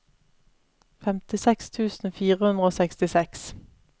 femtiseks tusen fire hundre og sekstiseks